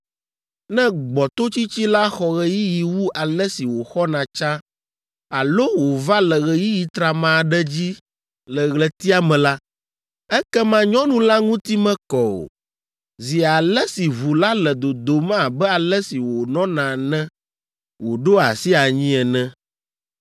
“ ‘Ne gbɔtotsitsi la xɔ ɣeyiɣi wu ale si wòxɔna tsã alo wòva le ɣeyiɣi trama aɖe dzi le ɣletia me la, ekema nyɔnu la ŋuti mekɔ o, zi ale si ʋu la le dodom abe ale si wònɔna ne wòɖo asi anyi ene.